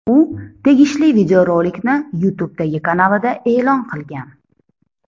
U tegishli videorolikni YouTube’dagi kanalida e’lon qilgan.